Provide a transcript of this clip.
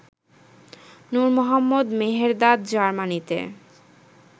Nur Mohammad Mehrdad জার্মানিতে